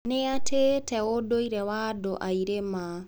Nĩ aatĩĩte ũndũire wa andũ a irĩma.